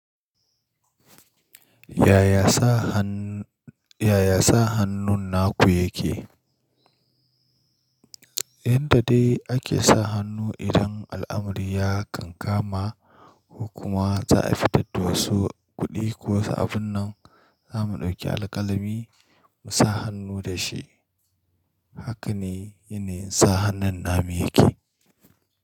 Yaya sa hannun naku yake? Inda dai ake sa hannu idan al'amari ya kankama, ko kuma za a fitar da wasu kuɗi ko wasu abun nan za mu ɗauki alkalami mu sa hannu da shi. Haka ne, yanayin sa hannun namu yake.